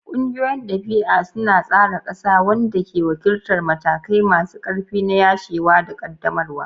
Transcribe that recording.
Ƙungiyoyin dabi'a suna tsara ƙasa, wanda ke wakiltar matakai masu ƙarfi na yashewa da ƙaddamarwa.